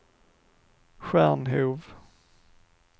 Stjärnhov